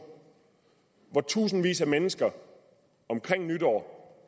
hvor tusindvis af mennesker omkring nytår